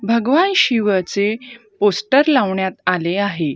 भगवान शिवाचे पोस्टर लावण्यात आले आहे.